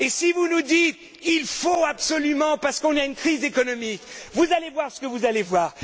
Vous nous dites il faut absolument, parce qu'on a une crise économique, vous allez voir ce que vous allez voir.